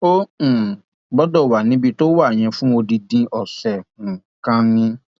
ó um gbọdọ wà níbi tó wà yẹn fún odidi ọsẹ um kan ni